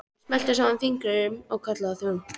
Hann smellti saman fingrum og kallaði á þjón.